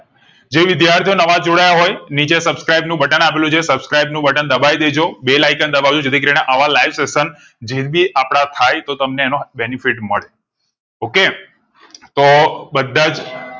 જે વિદ્યાર્થીઓ નવા જોડાયા હોય નીચે subscribe નું બટન આપેલું છે subscribe નું બટન દબાવી દે જો bell icon દબાવ જો જે થી કરી ને આવા live session જીંદગી આપણા થાય તો તમ ને એનો benefit મળે okay તો બધા જ